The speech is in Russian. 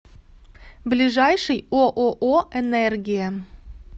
ближайший ооо энергия